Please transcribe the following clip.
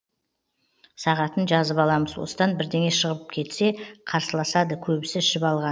сағатын жазып алам осыдан бірдеңе шығып кетсе қарсыласады көбісі ішіп алған